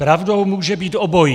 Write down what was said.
Pravdou může být obojí.